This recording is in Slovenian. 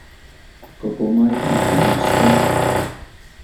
Kako majhen je ta naš svet!